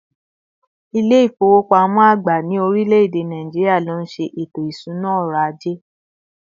İle ifowopamọ agba ni orileede Nigeria, ló nşe eto isuna ọrọ̀ aje